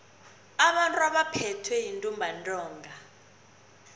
abantu abaphethwe yintumbantonga